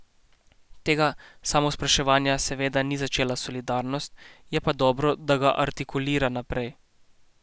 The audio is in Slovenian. Tega samospraševanja seveda ni začela Solidarnost, je pa dobro, da ga artikulira naprej.